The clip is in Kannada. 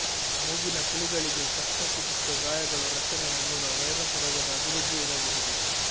ಮೂಗಿನ ಕುಳಿಗಳಿಗೆ ಕಷ್ಟ ಚಿಕಿತ್ಸೆ ಗಾಯಗಳು ರಚನೆಯ ಮೂಲ ವೈರಸ್ ರೋಗದ ಅಭಿವೃದ್ಧಿ ಇರಬಹುದು